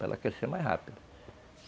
para ela crescer mais rápido.